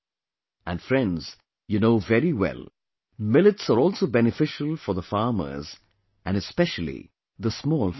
And friends, you know very well, millets are also beneficial for the farmers and especially the small farmers